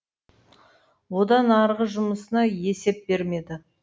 одан арғы жұмысына есеп бермеді